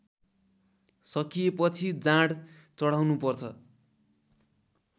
सकिएपछि जाँड चढाउनुपर्छ